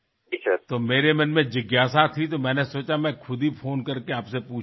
তা নিয়ে আমার মনে বেশ কিছু জিজ্ঞাসা ছিল তাই ভাবলাম নিজেই ফোন করে আপনার কাছ থেকে জেনে নি